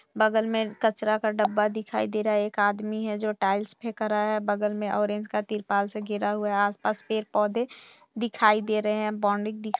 बगल में कचरा का डब्बा दिखाई दे रहा है एक आदमी है जो टाइलस फेक रहा है बगल में ऑरेंज का तिरपाल से घिरा हुआ है आस पास पेड़ पौधे दिखाई दे रहे हैं बाउंड्री --